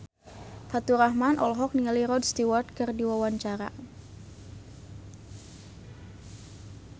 Faturrahman olohok ningali Rod Stewart keur diwawancara